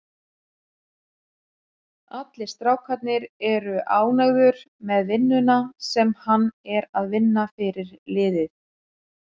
Allir strákarnir eru ánægður með vinnuna sem hann er að vinna fyrir liðið.